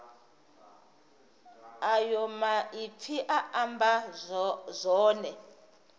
ayo maipfi a amba zwone